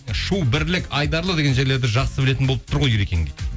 шу бірлік айдарлы деген жерлерді жақсы білетін болып тұр ғой ерекең дейді